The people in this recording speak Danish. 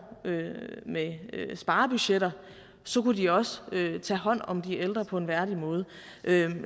med sparebudgetter kunne de også tage hånd om de ældre på en værdig måde